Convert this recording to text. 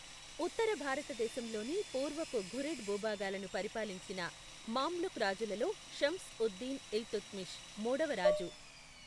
ఉత్తర భారతదేశంలోని పూర్వపు ఘురిడ్ భూభాగాలను పరిపాలించిన మామ్లుక్ రాజులలో షమ్స్ ఉద్ దిన్ ఇల్తుత్మిష్ మూడవరాజు.